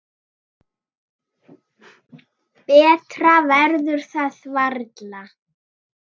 Betra verður það varla.